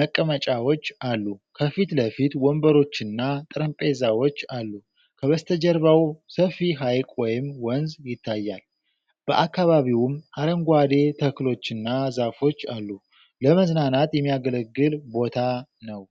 መቀመጫዎች አሉ። ከፊት ለፊት ወንበሮችና ጠረጴዛዎች አሉ። ከበስተጀርባው ሰፊ ሐይቅ ወይም ወንዝ ይታያል፤ በአካባቢውም አረንጓዴ ተክሎችና ዛፎች አሉ። ለመዝናናት የሚያገለግል ቦታ ነው።